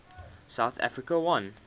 south africa won